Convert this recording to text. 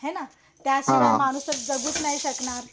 हे ना त्याशिवाय माणूस जगूच नाही शकतणार